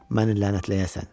Məni lənətləyəsən.